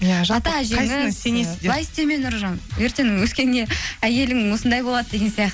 былай істеме нұржан ертең өскенде әйелің осындай болады деген